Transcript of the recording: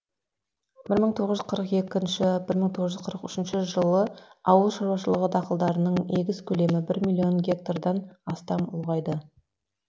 бір мың тоғыз жүз қырық екінші бір мың тоғыз жүз қырық үшінші жылы ауыл шаруашылығы дақылдарының егіс көлемі бір миллион гектардан астам ұлғайды